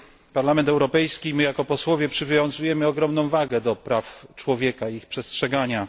Parlament Europejski i my jako posłowie przywiązujemy ogromną wagę do praw człowieka i ich przestrzegania.